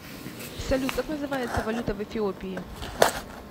салют как называется валюта в эфиопии